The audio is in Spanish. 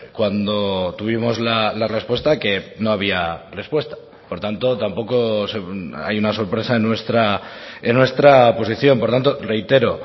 cuando tuvimos la respuesta que no había respuesta por tanto tampoco hay una sorpresa nuestra en nuestra posición por tanto reitero